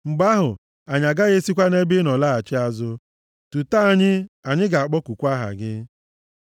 Mgbe ahụ, anyị agaghị esikwa nʼebe ị nọ laghachi azụ; tutee anyị, anyị ga-akpọkukwa aha gị.